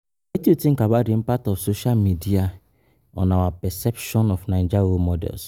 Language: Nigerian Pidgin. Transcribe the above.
Wetin you know about di impact of social media on our perception of Naija role models?